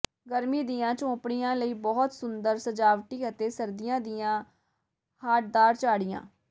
ਗਰਮੀ ਦੀਆਂ ਝੌਂਪੜੀਆਂ ਲਈ ਬਹੁਤ ਸੁੰਦਰ ਸਜਾਵਟੀ ਅਤੇ ਸਰਦੀਆਂ ਦੀਆਂ ਹਾਰਡਦਾਰ ਝਾੜੀਆਂ